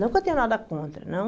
Não que eu tenha nada contra, não.